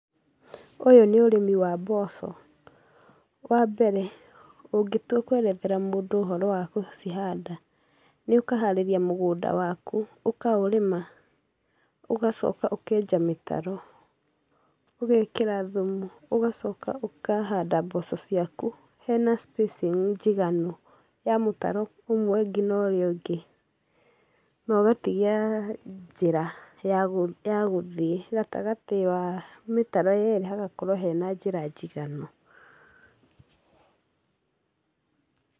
Ũyũ nĩ ũrĩmi wa mboco. Wa mbere, ũngĩtua kũerethera mũndũ ũhoro wa gũcihanda, nĩ ũkaharĩria mũgũnda waku, ũkaũrĩma, ũgacoka ũkenja mĩtaro, ũgekĩra thumu, ũgacoka ũkahanda mboco ciaku hena spacing njiganu, ya mũtaro ũmwe ũngĩ na urĩa ũngĩ, na ũgatigia njĩra, ya ya gũthiĩ gatagatĩ wa mĩtaro yerĩ hagakorwo hena njĩra njiganu.